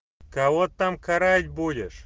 кого там карать будешь